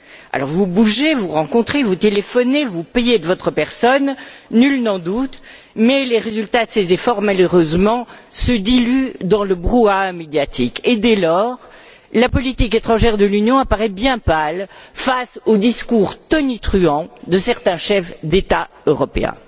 Alors, vous bougez, vous rencontrez, vous téléphonez, vous payez de votre personne, nul n'en doute, mais les résultats de ces efforts, malheureusement, se diluent dans le brouhaha médiatique et, dès lors, la politique étrangère de l'Union apparaît bien pâle face aux discours tonitruants de certains chefs d'État européens.